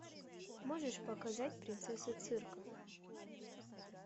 можешь показать принцесса цирка